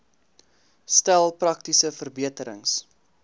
stel praktiese verbeterings